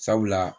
Sabula